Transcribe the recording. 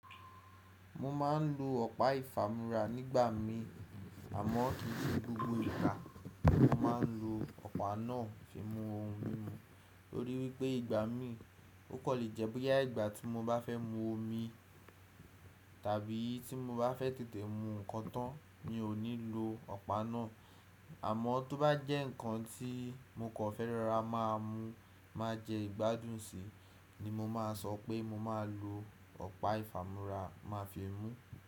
Mo ma n lo ọpa ifamura nigba mi, àmọ ki se gbogbo ìgbà mo ma n lo ọpa náà fi mú ohun mímu. Nitori wípé ìgbà mi, o kan le jẹ́ boya ìgbà tí mo bá fẹ́ mú omi tàbí tí mo bá fẹ́ tètè mú nkan tán, mi ò ní lo ọpa náà. Àmọ tó bá jẹ́ ǹkan tí mo kò fẹ́ rorá máa mú máa jẹ́ ìgbádùn sí, ni mo máa sọ pé mo máa lo ọpa ifamura máa fi mú.